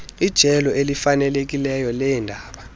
ijelo elifanelekileyo leendaba